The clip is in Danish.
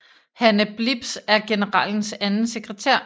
Hanne Blips er generalens anden sekretær